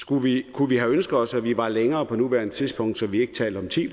kunne vi have ønsket os at vi var længere på nuværende tidspunkt så vi ikke talte om ti